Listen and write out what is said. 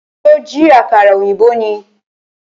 Ṣó jí àkàrà ọ̀yìnbó ni?